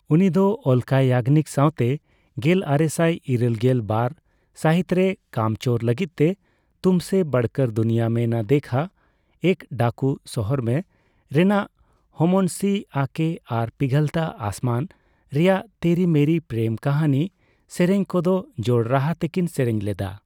ᱩᱱᱤ ᱫᱚ ᱚᱞᱚᱠᱟ ᱭᱟᱧᱡᱜᱷᱤ ᱥᱟᱣ ᱛᱮ ᱜᱮᱞᱟᱨᱮᱥᱟᱭ ᱤᱨᱟᱞᱜᱮᱞ ᱵᱟᱨ ᱒ᱵᱟᱨ ᱥᱟᱦᱤᱛᱨᱮ 'ᱠᱟᱢᱪᱳᱨ' ᱞᱟᱹᱜᱤᱫ ᱛᱮ 'ᱛᱩᱢᱥᱮ ᱵᱚᱨᱠᱚᱨ ᱫᱩᱱᱤᱭᱟ ᱢᱮ ᱱᱟ ᱫᱮᱠᱷᱟ', 'ᱮᱠ ᱰᱟᱠᱩ ᱥᱚᱦᱚᱨ ᱢᱮ'ᱼᱨᱮᱱᱟᱜ 'ᱦᱚᱢᱚᱱᱥᱤ ᱟ ᱠᱮ' ᱟᱨ ᱯᱤᱜᱷᱞᱛᱟ ᱟᱥᱢᱟᱱ' ᱼ ᱨᱮᱭᱟᱜ 'ᱛᱮᱨᱤ ᱢᱮᱨᱤ ᱯᱮᱨᱮᱢ ᱠᱟᱦᱟᱱᱤ ' ᱥᱮᱨᱮᱧ ᱠᱚ ᱫᱚ ᱡᱚᱲ ᱨᱟᱦᱟ ᱛᱮᱠᱤᱱ ᱥᱮᱨᱮᱧ ᱞᱮᱫᱟ᱾